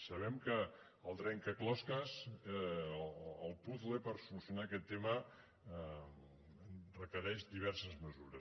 sabem que el trencaclosques el puzle per solucionar aquest tema requereix diverses mesures